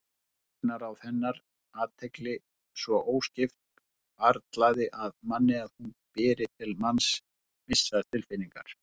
Augnaráð hennar, athygli svo óskipt, hvarflar að manni að hún beri til manns vissar tilfinningar.